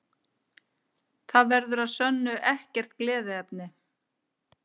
Það verður að sönnu ekkert gleðiefni